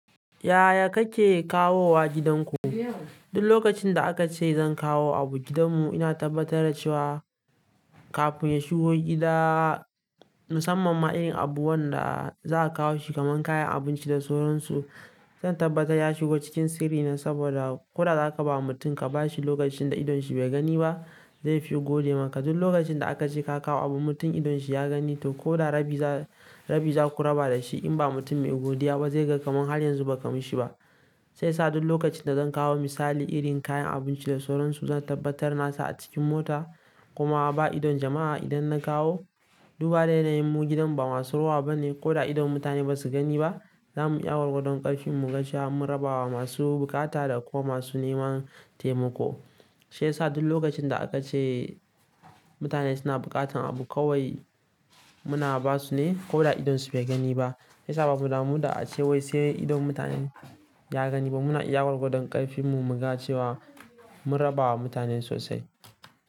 Yaya kake kawo wa gidanku? Duk lokacin da aka ce zan kawo abu gidanmu, ina tabbatar da cewa kafin ya shigo gida, mu samma ma irin abun da za a kawo shi, kamar kayan abinci da sauransu. Zan tabbata ya shigo cikin sirri ne saboda ko da za ka ba mutum ka ba shi lokacin da idon shi bai gani ba, zai fi gode maka. Duk lokacin da aka ce ka kawo abu, mutum idon shi ya gani, to ko da rabi za, rabi za ku raba da shi. In ba mutum mai godiya ba zai ga kamar har yanzu ba ka yi ma shi ba. Sai sa duk lokacin da zan kawo misali irin kayan abinci da sauransu, zan tabbatar na sa a cikin mota kuma ba idon jama'a idan na kawo. Duba da yanayinmu gidan ba masu ruwa bane ko da idon mutane ba su gani ba. Za mu iya wargodon ƙarfin mu, gashiya mun raba wa masu bukata da kuma masu neman taimako. Shi yasa duk lokacin da aka ce mutane suna buƙatar abu kawai muna ba su ne ko da idonsu bai gani ba. Sai sa babu damu da ace wai sai idon mutanen ya gani ba. Muna iya wargodon ƙarfin mu, muga cewa mun raba wa mutanen sosai.